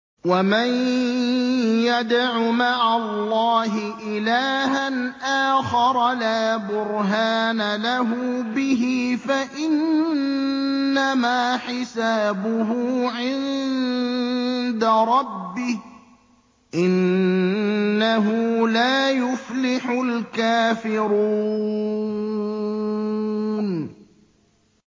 وَمَن يَدْعُ مَعَ اللَّهِ إِلَٰهًا آخَرَ لَا بُرْهَانَ لَهُ بِهِ فَإِنَّمَا حِسَابُهُ عِندَ رَبِّهِ ۚ إِنَّهُ لَا يُفْلِحُ الْكَافِرُونَ